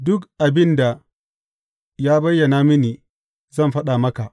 Duk abin da ya bayyana mini, zan faɗa maka.